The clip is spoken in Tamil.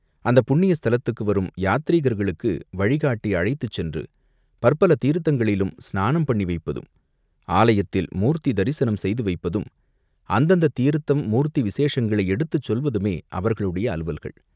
அந்தப் புண்ணிய ஸ்தலத்துக்கு வரும் யாத்ரீகர்களுக்கு வழிகாட்டி அழைத்துச் சென்று பற்பல தீர்த்தங்களிலும் ஸ்நானம் பண்ணி வைப்பதும், ஆலயத்தில் மூர்த்தி தரிசனம் செய்து வைப்பதும், அந்தந்தத் தீர்த்தம் மூர்த்தி விசேஷங்களை எடுத்துச் சொல்வதுமே அவர்களுடைய அலுவல்கள்.